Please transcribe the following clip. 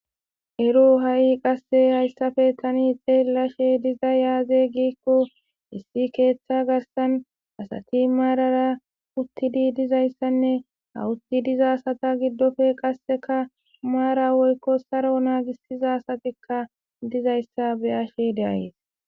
ero ha7i qasse hayssafe tani xeellashe diza yaaze giikko issi keeththa garsan asati maarara uttidi dizayssanne hawutti dizasata giddofe qasseka maara woykko saro naagissiza asatikka dizayssa be'ashe d'ayees